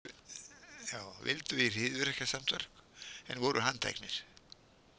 Vildu í hryðjuverkasamtök en voru handteknir